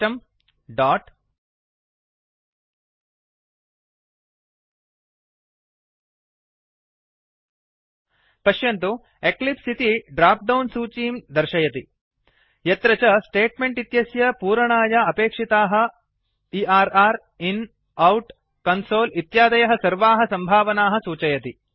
system dot पश्यन्तु Eclipse इति dropdown सूचीं दर्शयति यत्र च स्टेट्मेंट् इत्यस्य पूरणाय अपेक्षिताः एर्र इन् आउट कन्सोल इत्यादयः सर्वाः सम्भावनाः सूचयति